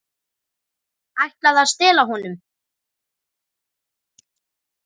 Ætlaði að stela honum!